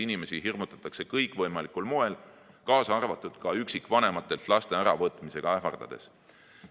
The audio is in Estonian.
Inimesi hirmutatakse kõikvõimalikul moel, kaasa arvatud üksikvanematelt laste äravõtmisega ähvardades.